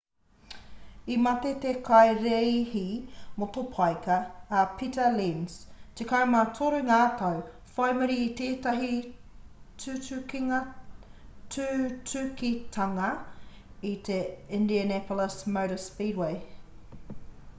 i mate te kaireihi motopaika a pita lenz 13 ngā tau whai muri i tētahi tutukitanga i te indianapolis motor speedway